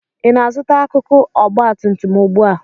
Ị na-azụta akụkụ ọgba tum tum ugbu a?